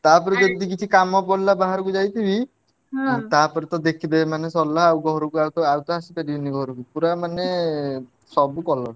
ତାପରେ ଯଦି କିଛି କାମ ପଡିଲା ବାହାରକୁ ଯାଇଥିବି ଆଉ ତା ପରେ ତ ଦେଖିଦେବୀ ମାନେ ସରିଲା ଆଉ ଘରକୁ ଆଉ ତ ଆଉ ଆସି ପାରିବିନି ଘରକୁ ପୁରା ମାନେ ସବୁ colour